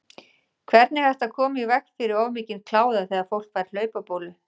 Hvernig er hægt að koma í veg fyrir of mikinn kláða þegar fólk fær hlaupabólu?